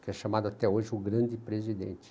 Que é chamado até hoje o grande presidente.